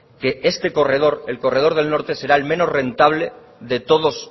que este corredor el corredor del norte será el menos rentable de todos